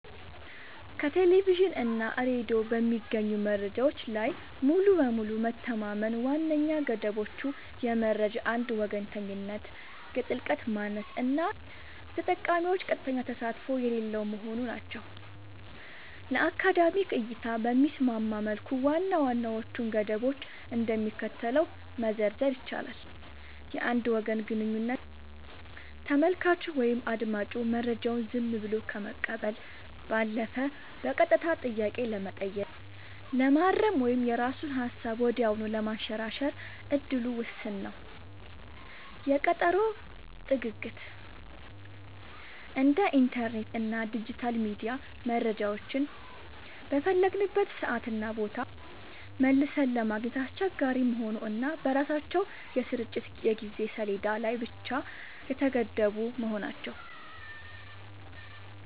ከቴሌቪዥን እና ሬዲዮ በሚገኙ መረጃዎች ላይ ሙሉ በሙሉ መተማመን ዋነኛ ገደቦቹ የመረጃ አንድ ወገንተኝነት፣ የጥልቀት ማነስ እና የተጠቃሚዎች ቀጥተኛ ተሳትፎ የሌለው መሆኑ ናቸው። ለአካዳሚክ እይታ በሚስማማ መልኩ ዋና ዋናዎቹን ገደቦች እንደሚከተለው መዘርዘር ይቻላል፦ የአንድ ወገን ግንኙነት : ተመልካቹ ወይም አዳማጩ መረጃውን ዝም ብሎ ከመቀበል ባለፈ በቀጥታ ጥያቄ ለመጠየቅ፣ ለማረም ወይም የራሱን ሃሳብ ወዲያውኑ ለማንሸራሸር እድሉ ውስን ነው። የቀጠሮ ጥግግት : እንደ ኢንተርኔት እና ዲጂታል ሚዲያ መረጃዎችን በፈለግንበት ሰዓትና ቦታ መልሰን ለማግኘት አስቸጋሪ መሆኑ እና በራሳቸው የስርጭት የጊዜ ሰሌዳ ላይ ብቻ የተገደቡ መሆናቸው።